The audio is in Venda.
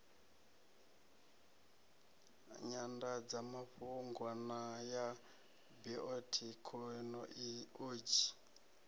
nyandadzamafhungo na ya biothekhino odzhi